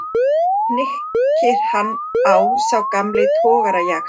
hnykkir hann á sá gamli togarajaxl.